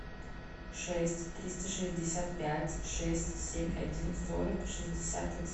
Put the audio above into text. шесть триста шестьдесят пять шесть семь один сорок шестьдесят один